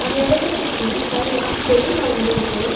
அந்த எடத்த சுத்தி நறையா செடி வளந்துருக்கு.